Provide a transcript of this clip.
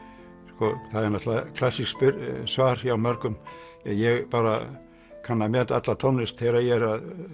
sko það er náttúrulega klassískt svar hjá mörgum ja ég bara kann að meta alla tónlist þegar ég